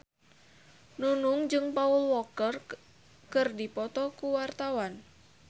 Nunung jeung Paul Walker keur dipoto ku wartawan